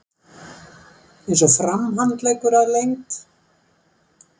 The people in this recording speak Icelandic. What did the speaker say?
Eins og framhandleggur að lengd.